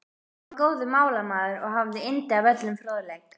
Hann var góður málamaður og hafði yndi af öllum fróðleik.